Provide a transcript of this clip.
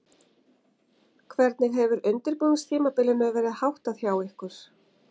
Hvernig hefur undirbúningstímabilinu verð háttað hjá ykkur?